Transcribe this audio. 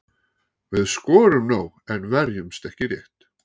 Við skorum nóg en verjumst ekki rétt.